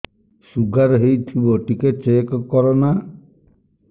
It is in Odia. ଶୁଗାର ହେଇଥିବ ଟିକେ ଚେକ କର ନା